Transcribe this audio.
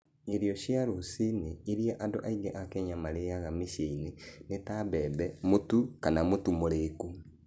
Irio cia rũcinĩ iria andũ aingĩ a Kenya marĩĩaga mĩciĩ-inĩ nĩ ta mbembe, mũtu, kana mũtu mũriku.